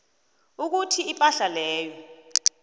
ukuthi ipahla leyo